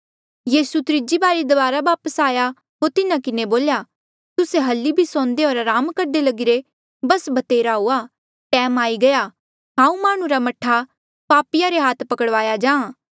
यीसू त्रीजी बारी दबारा वापस आया होर तिन्हा किन्हें बोल्या तुस्से हल्ली भी सौंदे होर अराम करदे लगिरे बस भतेरा हुआ टैम आई गया हांऊँ माह्णुं रा मह्ठा पापिया रे हाथा पकड़वाया जाहाँ